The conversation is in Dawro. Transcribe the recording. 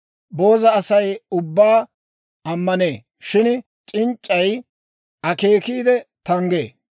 Booza Asay ubbaa ammanee; shin c'inc'c'ay akeekiide tanggee.